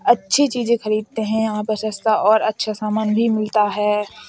अच्छी चीजे़ खरीदते हैं। यहाँ पर सस्ता और अच्छा समान भी मिलता है।